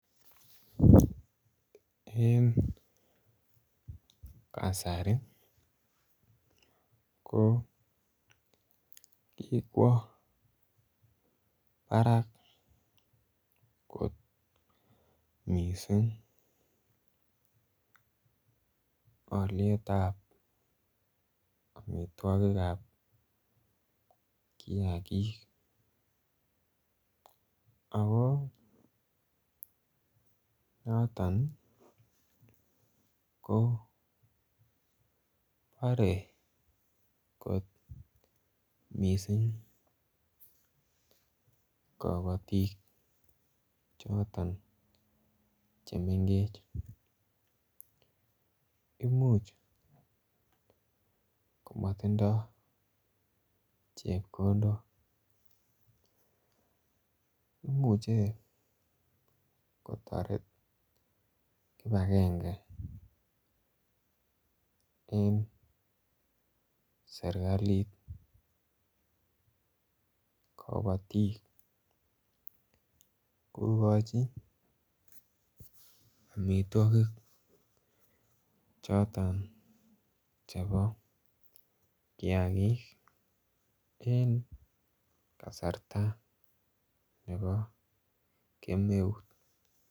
en kasari ko kikwo barak kot mising olyeet ab omitwogikab kiagiik, ago noton iih ko bore kot mising kobotiik noton chemengech, imuch komotindoo chepkondook, imuche kotoret kipagenge en serkaliit kobotiik kogochi omitwogik choton chebo kiagiik en kasarta nebo kemeut.